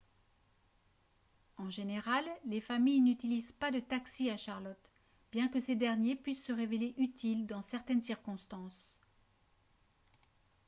en général les familles n'utilisent pas de taxis à charlotte bien que ces derniers puissent se révéler utiles dans certaines circonstances